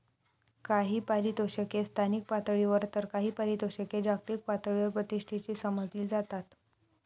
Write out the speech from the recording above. काही पारितोषिके स्थानिक पातळीवर तर काही पारितोषिके जागतिक पातळीवर प्रतिष्ठेची समजली जातात.